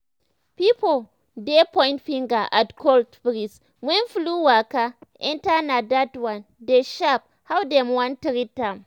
pipo dey point finger at cold breeze when flu waka enter na dat one dey shape how dem wan treat am.